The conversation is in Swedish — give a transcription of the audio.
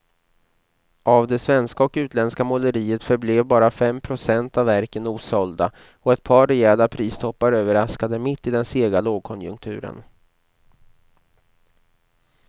Av det svenska och utländska måleriet förblev bara fem procent av verken osålda och ett par rejäla pristoppar överraskade mitt i den sega lågkonjunkturen.